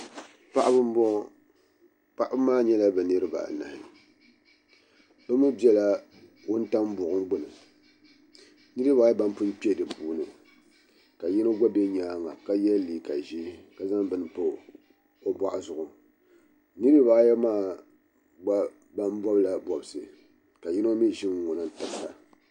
Paɣiba m-bɔŋɔ paɣiba maa nyɛla bɛ niriba anahi bɛ mi bela wuntaŋa buɣum gbuni niriba ayi ban pun kpe di puuni ka yino gba be nyaaŋa ka ye leega ʒee ka zaŋ bini m-pa o bɔɣu zuɣu bɛ niriba ayi maa gba ban bɔbila bɔbisi ka yino mi ʒi ŋ-ŋɔna m-tabi ba